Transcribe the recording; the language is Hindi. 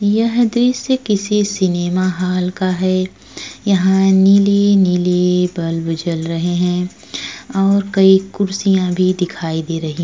यह दृश्य किसी सिनेमा हॉल का है। यहाँ नीले-नीले बल्ब जल रहे हैं और कई कुर्सियाँ भी दिखाई दे रही हैं।